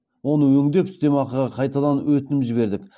оны өңдеп үстемақыға қайтадан өтінім жібердік